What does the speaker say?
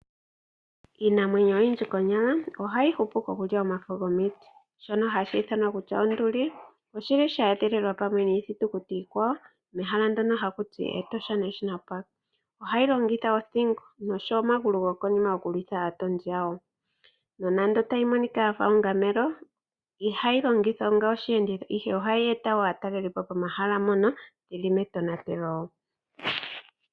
Iinamwenyo oyindji konyala ohayi hupu ko kulya omafo gomiti. Shono hashi ithanwa Onduli oshili sha edhililwa pamwe niithitukuti iikwawo mehala ndyono ha kuti Etosha National Park. Ohayi longitha othingo nosho wo omagulu go konima oku lwitha aatondi yayo. Nonando tayi monika onga ongamelo, ihayi longithwa onga oshiyenditho ihe ohayi eta wo aatalelipo pomahala mpono yili metonatelo.